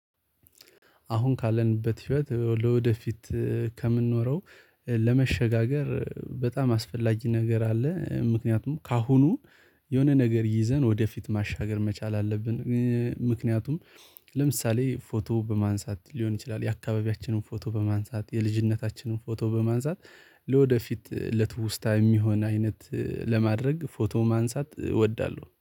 አሁን ካለንበት ህይወት ለወደፊት ከምንኖረው ለመሸጋገር በጣም አስፈላጊ ነገር አለ ምክንያቱም ከአሁኑ የሆነ ነገር ይዘን ወደፊት ማሻገር መቻል አለብን። ምክንያቱም ለምሳሌ ፎቶ በማንሳት ሊሆን ይችላል የአካባቢያችንን ፎቶ በማንሳት የልጅነታችንን ፎቶ በማንሳት ለወደፊት ለትውስታ የሚሆን አይነት ለማድረግ ፎቶ ማንሳት እወዳለሁ